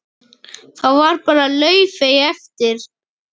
Þá var bara laufið eftir.